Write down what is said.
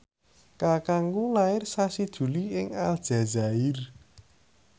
kakangku lair sasi Juli ing Aljazair